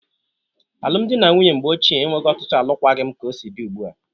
Alum dị na nwunye mgbe ochie enweghi ọtụtụ alụkwaghị m ka o si dị ụgbụa.